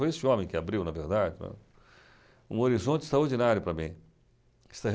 Foi esse homem que abriu, na verdade, um horizonte extraordinário para mim.